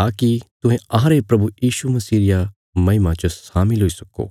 ताकि तुहें अहांरे प्रभु यीशु मसीह रिया महिमा च शामिल हुई सक्को